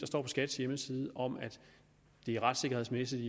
står på skats hjemmeside om at det retssikkerhedsmæssigt